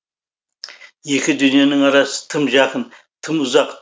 екі дүниенің арасы тым жақын тым ұзақ